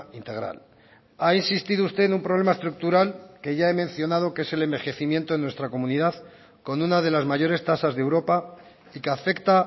integral ha insistido usted en un problema estructural que ya he mencionado que es el envejecimiento de nuestra comunidad con una de las mayores tasas de europa y que afecta